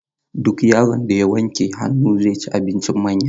Duk yaron da wanke hannu, zai ci abinci da manya.